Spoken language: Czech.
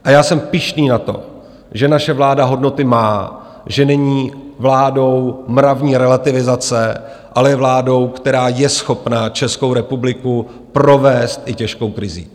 A já jsem pyšný na to, že naše vláda hodnoty má, že není vládou mravní relativizace, ale je vládou, která je schopna Českou republiku provést i těžkou krizí.